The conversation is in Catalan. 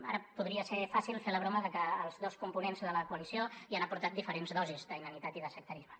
ara podria ser fàcil fer la broma de que els dos components de la coalició hi han aportat diferents dosis d’inanitat i de sectarisme